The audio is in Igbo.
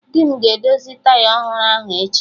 Di m ga-edozi taya ọhụrụ ahụ echi